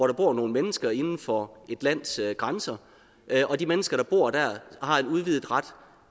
der bor nogle mennesker inden for et lands grænser og de mennesker der bor der har en udvidet ret